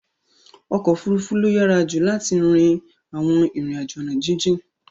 Okofurufu lo yara ju lart rin awon rin ajo ona jijin